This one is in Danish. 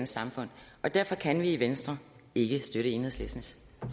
samfund og derfor kan vi i venstre ikke støtte enhedslistens